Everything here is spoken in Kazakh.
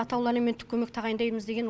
атаулы әлеуметтік көмек тағайындаймыз деген